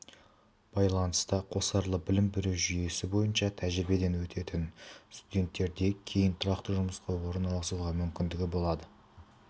байланыста қосарлы білім беру жүйесі бойынша тәжірибеден өтетін студенттерде кейін тұрақты жұмысқа орналасуға мүмкіндігі болады